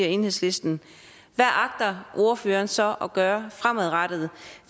enhedslisten hvad agter ordføreren så at gøre fremadrettet